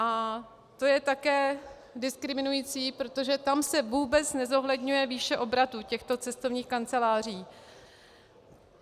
A to je také diskriminující, protože tam se vůbec nezohledňuje výše obratu těchto cestovních kanceláří.